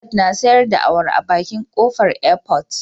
Nefisat na sayar da awara a bakin kofar airport